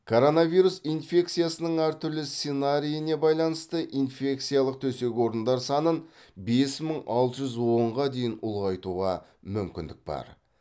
коронавирус инфекциясының әртүрлі сценарийіне байланысты инфекциялық төсек орындар санын бес мың алты жүз онға дейін ұлғайтуға мүмкіндік бар